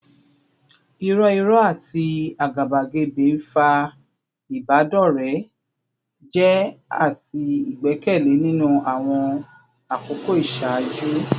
Irọ́ irọ́ àti àgàbàgebè ń fa ìbádọ́rẹ̀ẹ́ jẹ́ àti ìgbẹ́kẹ̀lé nínú àwọn àkókò ìṣáájú